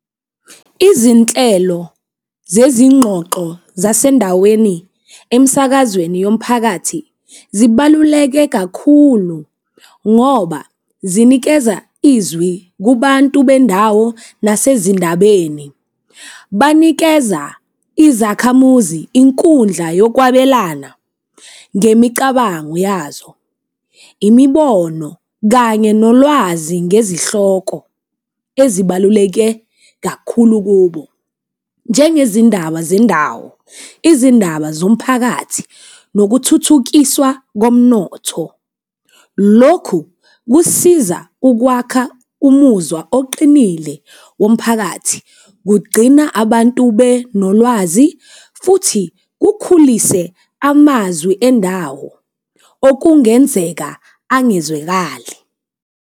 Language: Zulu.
Izinhlelo zezingxoxo zasendaweni emisakazweni yomphakathi zibaluleke kakhulu ngoba zinikeza izwi kubantu bendawo nasezindabeni. Banikeza izakhamuzi inkundla yokwabelana ngemicabango yazo, imibono, kanye nolwazi ngezihloko ezibaluleke kakhulu kubo. Njengezindaba zendawo, izindaba zomphakathi, nokuthuthukiswa komnotho. Lokhu kusiza ukwakha umuzwa oqinile womphakathi, kugcina abantu benolwazi futhi kukhulise amazwi endawo okungenzeka angezwekali